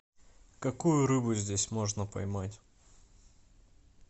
какую рыбу здесь можно поймать